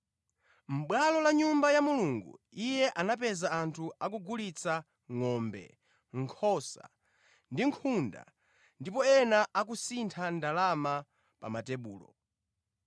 Mʼbwalo la Nyumba ya Mulungu Iye anapeza anthu akugulitsa ngʼombe, nkhosa ndi nkhunda ndipo ena akusintha ndalama pa matebulo.